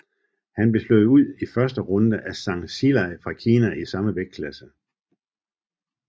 Her blev han slået ud i første runde af Zhang Zhilei fra Kina i samme vægtklasse